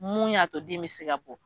Mun y'a to den be se ka bɔ